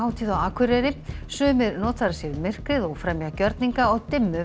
Gjörningahátíð á Akureyri sumir notfæra sér myrkrið og fremja gjörninga á dimmu